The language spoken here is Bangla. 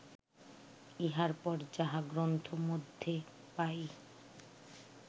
ইহার পর যাহা গ্রন্থমধ্যে পাই